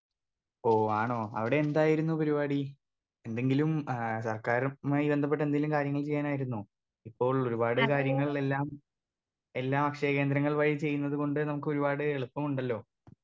Speaker 2 ഓ ആണോ അവിടെ എന്തായിരുന്നു പരിപാടി എന്തെങ്കിലും ഏ സർക്കാരുമായി ബന്ധപ്പെട്ട എന്തെങ്കിലും കാര്യങ്ങൾ ചെയ്യാനായിരുന്നോ ഇപ്പോൾ ഒരുപാട് കാര്യങ്ങൾ എല്ലാം എല്ലാം അക്ഷയ കേന്ദ്രങ്ങൾ വഴി ചെയ്യുന്നത് കൊണ്ട് നമുക്കൊരുപാട് എളുപ്പമുണ്ടല്ലോ.